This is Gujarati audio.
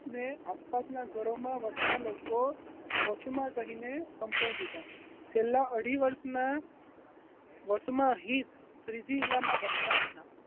ને આસપાસના ઘરો મા વસતા લોકો વસુમાં કહીને સંબોધતા છેલ્લા અઢી વર્ષના વસુમાહિત શ્રીજી વીલામાં વસતા હતા